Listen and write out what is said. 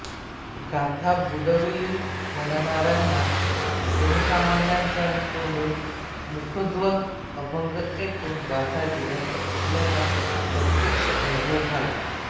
गाथा बुडवली म्हणणाऱ्यांना जनसामान्यांच्या तोंडून मुखोद्गत अभंग ऐकून गाथा जिवंत असल्याचा प्रत्यक्ष अनुभव झाला